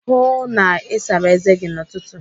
Hụụ na Ị sara eze gi n'ụtụtụ!